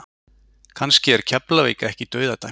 Kannski er Keflavík ekki dauðadæmt?